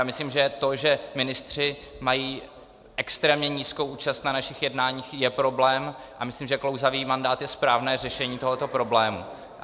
Já myslím, že to, že ministři mají extrémně nízkou účast na našich jednáních, je problém, a myslím, že klouzavý mandát je správné řešení tohoto problému.